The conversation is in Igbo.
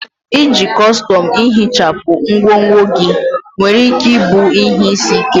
Iji kọstọm ihichapụ ngwongwo gị nwere ike ịbụ ihe isi ike.